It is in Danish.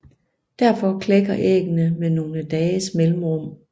Derfor klækker æggene med nogle dages mellemrum